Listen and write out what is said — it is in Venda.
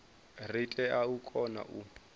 ri tea u kona u